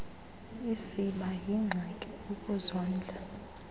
isiba yingxaki ukuzondla